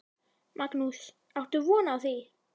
Magnús: Áttu von á því?